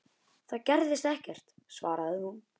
Það gerðist ekkert, svaraði hún.